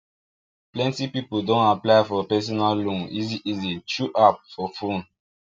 plenty people don apply for personal loan easy easy through apps for fone